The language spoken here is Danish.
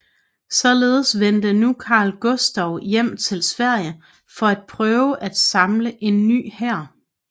Således vendte nu Karl Gustav hjem til Sverige for at prøve at samle en ny hær